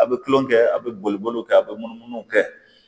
A bɛ tulonkɛ kɛ a' bɛ boli boliw kɛ a bɛ munumunu kɛ